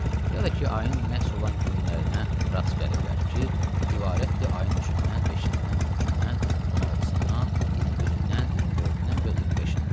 Ya da ki, ayın nə isə olan günlərinə rast gəliblər ki, ibarətdir ayın üçündən, beşindən, 13-dən, 16-sından, 21-dən, 24-dən və 25-dən.